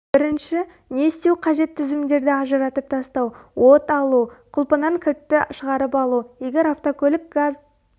бірінші не істеу қажет тізімдерді ажыратып тастау от алу құлпынан кілтті шығарып алу егер автокөлік газ